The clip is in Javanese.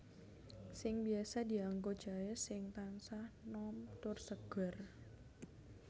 Sing biasa dianggo jaé sing tansah nom tur seger